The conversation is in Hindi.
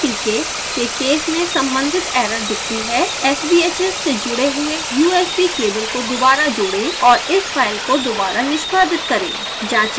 tcl/tk के केस में सम्बंधित एरर दिखती है sbhs से जुड़े हुए usb केबल को दोबारा जोड़ें और इस फाइल को दोबारा निष्पादित करें